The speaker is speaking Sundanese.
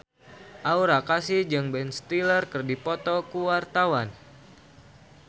Aura Kasih jeung Ben Stiller keur dipoto ku wartawan